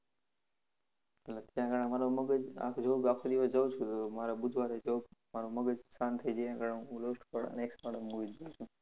ને અત્યારના મારો મગજ, આખો job, આખો દિવસ જઉં છું તો મારે બુધવારે job મારો મગજ શાંત થઈ જાય એના કારણે હું love story વાળા અને action વાળા જ movie જોવ છું